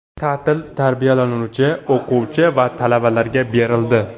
Ta’til tarbiyalanuvchi, o‘quvchi va talabalarga berildi.